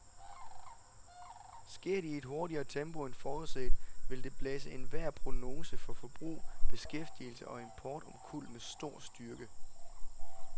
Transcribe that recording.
Sker det i et hurtigere tempo end forudset, vil det blæse enhver prognose for forbrug, beskæftigelse og import omkuld med stor styrke.